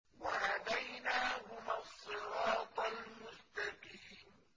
وَهَدَيْنَاهُمَا الصِّرَاطَ الْمُسْتَقِيمَ